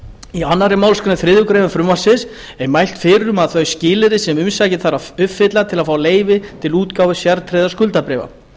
í annarri málsgrein þriðju greinar frumvarpsins er mælt fyrir um þau skilyrði sem umsækjandi þarf að uppfylla til að fá leyfi til útgáfu sértryggðra skuldabréfa